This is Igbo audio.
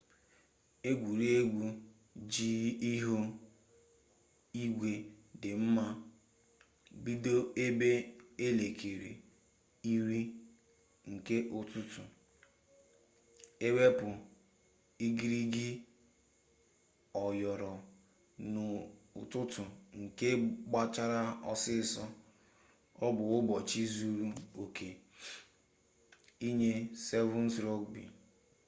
egwuregwu ji ihu igwe dị mma bido ebe elekere iri nke ụtụtụ ewepụ igirigi yọrọ n'ụtụtụ nke gbachara ọsịsọ ọ bụ ụbọchị zuru oke nye 7's rugbi